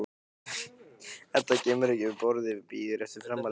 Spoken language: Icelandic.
Edda kemur ekki upp orði, bíður eftir framhaldinu.